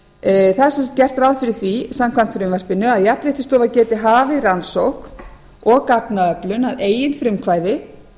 er sem sagt gert ráð fyrir því samkvæmt frumvarpinu að jafnréttisstofa geti hafið rannsókn og gagnaöflun að eigin frumkvæði